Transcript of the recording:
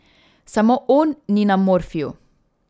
Samo on ni na morfiju.